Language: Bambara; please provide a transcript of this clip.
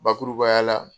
Bakurubaya la